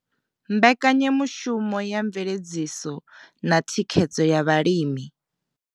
Mbekanyamishumo ya mveledziso na thikhedzo ya vhalimi.